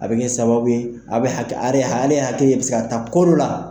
A be kɛ sababu ye ale hakili be se ka ta ko dɔ la.